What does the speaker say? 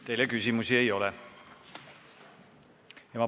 Teile küsimusi ei ole.